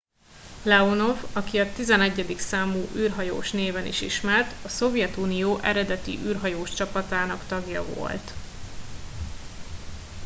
"leonov aki a "11. számú űrhajós" néven is ismert a szovjetunió eredeti űrhajós csapatának tagja volt.